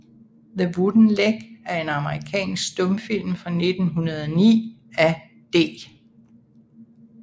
The Wooden Leg er en amerikansk stumfilm fra 1909 af D